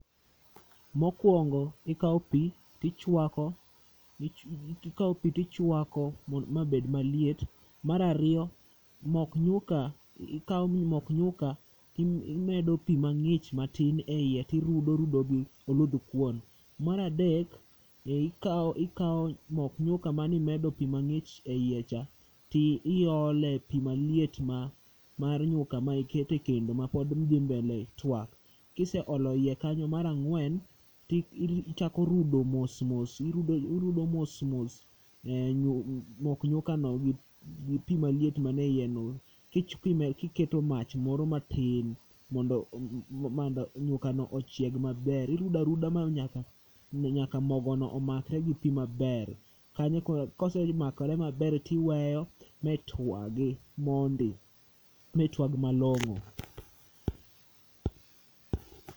Mokuongo ikawo pi to ichuako ikawo pi tichuako mabed maliet. Mar ariyo, mok nyuka, ikawo mok nyuka imedo pi mang'ich matin eiye, to irudo irudo gi oluthkuon. Mar adek, ikawo ikawo mok nyuka mane imedo pi mang'ich eiye cha to iole pi maliet mar nyuka ma iketo ekendo ma pod dhi mbele tuak kiseolo e iye kanyo, mar ang'wen, ichako rudo mos mos, irudo mos mos mok nyukano gi pi maliet man eiyeno kichkimel moro matin mondo nyukano ochieg maber. Irudo aruda nyaka mogono omakre gi pi maber. Kanyo koro kosemakre maber to iweyo matuagi mondi. Matuag malong'o.